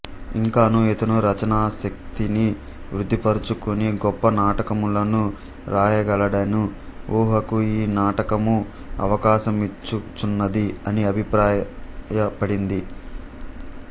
ఇంకనూ ఇతను రచనాశక్తిని వృద్ధిపరచుకొని గొప్ప నాటకములను వ్రాయగలడను ఊహకు ఈ నాటకము అవకాశమిచ్చుచున్నది అని అభిప్రాయపడింది